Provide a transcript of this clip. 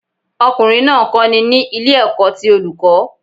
Ọkùnrin náà ń kọ́ni ní ilé ẹ̀kọ́ ti Olùkọ́